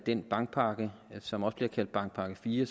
den bankpakke som også bliver kaldt bankpakke iv